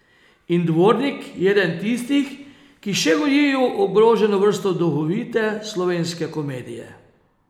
In Dvornik je eden tistih, ki še gojijo ogroženo vrsto duhovite slovenske komedije.